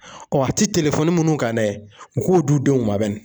a ti telefɔni minnu ka dɛ u k'o d'u denw ma bani.